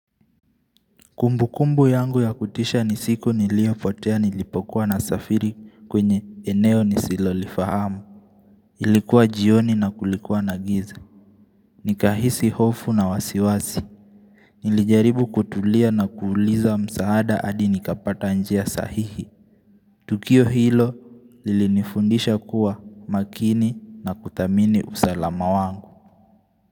Kumbukumbu yangu ya kutisha nisiku niliyopotea nilipokuwa nasafiri kwenye eneo nisilo lifahamu. Ilikuwa jioni na kulikuwa na giza. Nikahisi hofu na wasiwazi. Nilijaribu kutulia na kuuliza msaada hadi nikapata njia sahihi. Tukio hilo lilinifundisha kuwa makini na kudhamini usalama wangu.